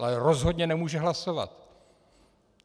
Ale rozhodně nemůže hlasovat.